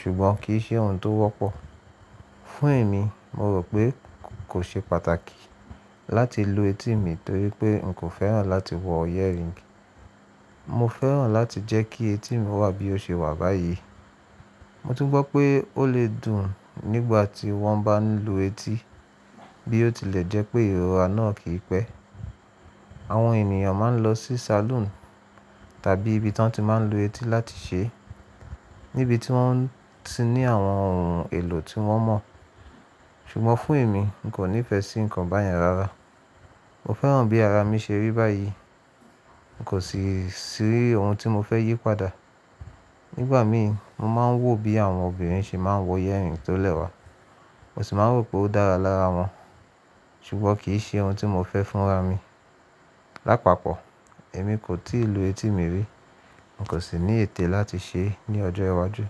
ṣùgbọ́n kì í ṣe ohun tó wọ́pọ̀. Fún èmi, mo rò pé kò ṣe pàtàkì láti lu etí mi torí pé n kò fẹ́ràn láti wọ earring. Mo fẹ́ràn láti jẹ́ kí etí mi wà bí ó ṣe wà báyìí. Mo tún gbọ́ pé ó lè dùn nígbà tí wọ́n bá ń lu etí bí ó tilẹ̀ jẹ́ pé ìrora náà kì í pẹ́. Àwọn ènìyàn máa ń lọ sí salon tàbí ibi tí wọ́n ti máa ń lu etí láti ṣe, níbi tí wọ́n ti ní àwọn ohun èlò tí wọ́n mọ̀. Ṣùgbọ́n fún èmi, n kò nífẹ̀ẹ́ sí nǹkan báyẹn rárá. Mo fẹ́ràn bí ara mi ṣe rí báyìí, kò sì sí ohun tí mo fẹ́ yí padà. Nígbà mí, mo máa ń wò bí àwọn obìnrin ṣe máa ń wọ earring tó lẹ́wà, mo sì máa ń rò pé ó dára lára wọn, ṣùgbọ́n kì í ṣe ohun tí mo fẹ́ fún ra mi. Lápapọ̀, èmi kò tíì lu etí mi rí, n kò sì ní ètè láti ṣe é ní ọjọ́ iwájú.